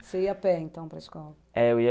Você ia a pé, então, para a escola? É, eu ia